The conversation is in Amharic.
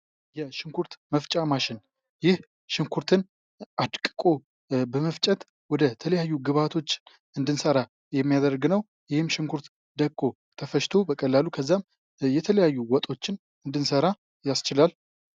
የሽንኩርት መፍጫ ማሽን ይህ ሽንኩርትን አድቅቆ በመፍጨት ወደ ተለያዩ ግብዓቶች እንድንሰራ የሚያደርግ ነው። ይህም ሽንኩርት ደቅቆ ተፈጭቶ በቀላሉ ከዛም የተለያዩ ወጦችን እንድንሰራ ያስችላል።